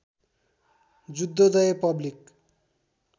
Juddhodaya public